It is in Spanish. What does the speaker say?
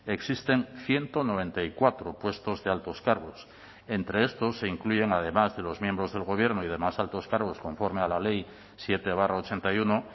existen ciento noventa y cuatro puestos de altos cargos entre estos se incluyen además de los miembros del gobierno y demás altos cargos conforme a la ley siete barra ochenta y uno